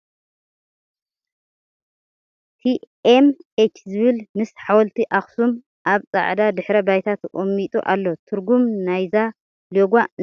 ቲ ኤም ኤች ዝብል ምስ ሓወልቲ ኣክሱም። ኣብ ፃዕዳ ድሕረ ባይታ ተቀሚጡ ኣሎ ። ትርጉም ንይዚ ሎጎ እንታይ እዩ ?